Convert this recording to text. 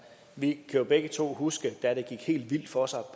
vi kan begge to huske da det gik helt vildt for sig